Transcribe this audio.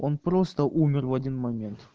он просто умер в один момент